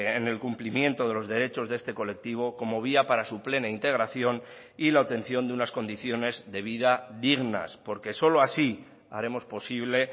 en el cumplimiento de los derechos de este colectivo como vía para su plena integración y la obtención de unas condiciones de vida dignas porque solo así haremos posible